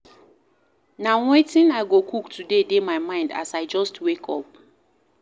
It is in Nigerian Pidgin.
Na wetin I go cook today dey my mind as I just wake up.